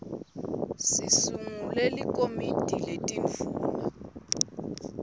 sisungule likomiti letindvuna